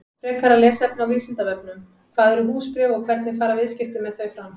Frekara lesefni á Vísindavefnum: Hvað eru húsbréf og hvernig fara viðskipti með þau fram?